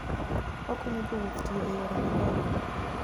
Okonyo jowuoth tiyo e yore madongo.